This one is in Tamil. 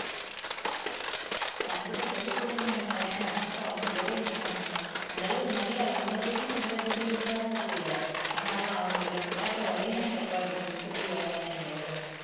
கண்டிப்பா சொல்லி கொடுத்தோம்னு வையுங்களேன் அதுக்கப்புறம் அவங்க விடவே மாட்டாங்க அந்த அளவுக்கு நல்லா அவங்களை விடவே நல்ல பிரில்லியண்ட் ஆதான் இருக்குங்க ஆனா அதான் அவங்களுக்கு நம்ம காட்டுற வழிதான் தப்பா இருக்கு மித்தபடி வேற ஒண்ணும் கிடையாது